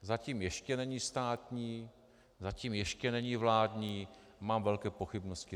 Zatím ještě není státní, zatím ještě není vládní, mám velké pochybnosti.